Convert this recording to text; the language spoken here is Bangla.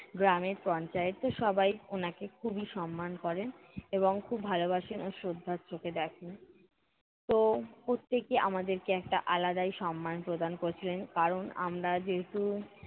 গ্রামের পঞ্চায়েত তো সবাই উনাকে খুবই সম্মান করেন এবং খুব ভালোবাসেন ও শ্রদ্ধার চোখে দেখেন। তো প্রত্যেকে আমাদেরকে একটা আলাদাই সম্মান প্রদান করছিলেন, কারণ আমরা যেহেতু